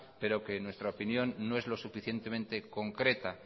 pero que en nuestra opinión no es lo suficientemente concreta